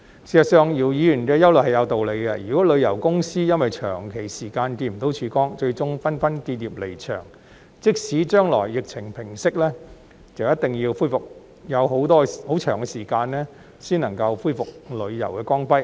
事實上，姚議員的憂慮是有道理的，如果旅遊公司因為長時間看不到曙光，最終紛紛結業離場，即使將來疫情平息，亦一定要很長時間才能恢復旅遊業的光輝。